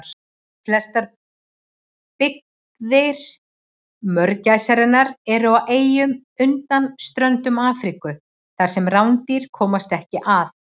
Flestar byggðir mörgæsarinnar eru á eyjum undan ströndum Afríku þar sem rándýr komast ekki að.